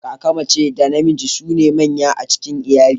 Kaka mace da namiji su ne manya a cikin iyali.